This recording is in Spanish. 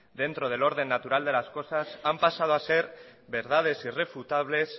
dentro del orden natural de las cosas han pasado a ser verdades irrefutables